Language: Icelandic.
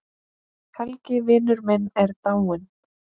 Helgi vinur minn er dáinn.